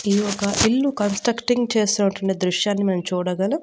ఈ ఒక ఇల్లు కన్స్ట్రక్టింగ్ చేస్తున్నటువంటి దృశ్యాన్ని మనం చూడగలం.